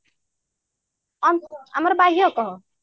ଆମର ବାହ୍ୟ କହ